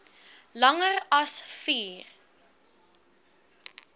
langer as vier